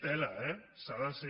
tela eh s’ha de ser